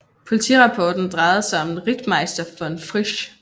Politirapporten drejede sig om en Rittmeister von Frisch